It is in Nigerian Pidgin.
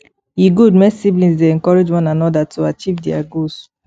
e good make siblings dey encourage one another to achieve their goals